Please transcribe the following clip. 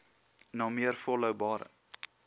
na meer volhoubare